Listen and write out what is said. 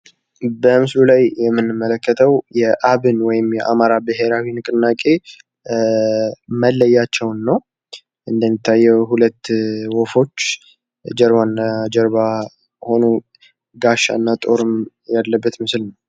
በምስሉ ላይ የምንመለከተው የአብን ወይም የአማራ ብሄራዊ ንቅናቄ መለያቸውን ነው እንደሚታየው ሁለት ወፎች ጀርባናጀርባ ሆነው ጋሻና ጦር ያለበት ምስል ነው።